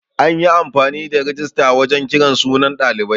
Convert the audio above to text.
An yi amfani da rijista wajan kiran sunan ɗalibai.